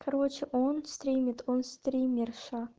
короче он стримит он стримерша